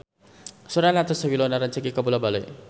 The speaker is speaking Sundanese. Sora Natasha Wilona rancage kabula-bale